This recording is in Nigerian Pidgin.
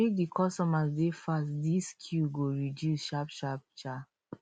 make di workers dey fast dis queue go reduce sharpsharp um